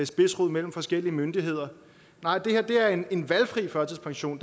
spidsrod mellem forskellige myndigheder nej det her er en en valgfri førtidspension